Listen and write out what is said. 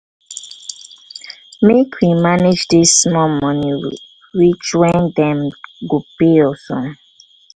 make we manage dis small moni reach wen dem go pay us o.